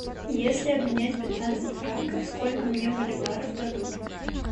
если обменять пятнадцать франков сколько мне боливаров дадут